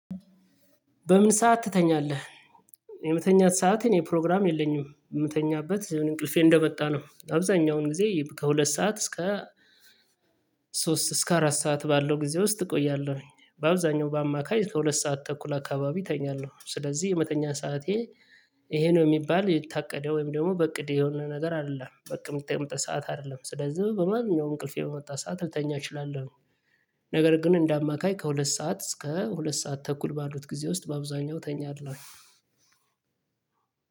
በምን ሰዓት ትተኛለህ የመተኛት ሰዓት እኔ ፕሮግራም የለኝም የምተኛበት እንቅልፌ እንደመጣ ነው አብዛኛውን ጊዜ ከሁለት ሰዓት እስከ ሶስት እስከ አራት ሰዓት ባለው ጊዜ ውስጥ እቆያለሁ በአብዛኛው በአማካይ ከሁለት ሰዓት ተኩል አካባቢ እተኛለሁ ስለዚህ የመተኛ ሰዓቴ ይሄ ነው የሚባል የታቀደው ወይም ደግሞ በእቅድ የሆነ ነገር አይደለም በእቅድ የምትጠይቀው ሰዓት አይደለም ስለዚህ በማንኛውም እንቅልፌ በመጣ ሰዓት ልተኛ እችላለሁ ነገር ግን እንደ አማካይ ከሁለት ሰዓት እስከ ሁለት ሰዓት ተኩል ባሉት ጊዜ ውስጥ በአብዛኛው ተኛለሁ።